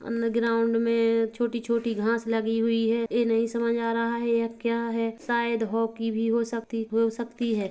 अन्दर ग्राउंड में छोटी छोटी घास लगी हुई है ये नहीं समझ आ रहा है यह क्या है शायद हॉकी भी हो सकती हो सकती है।